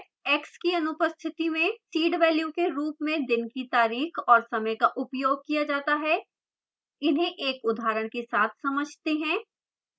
x की अनुपस्थिति में seed value के रूप में दिन की तारीख और समय का उपयोग किया जाता है इन्हें एक उदाहरण के साथ समझते हैं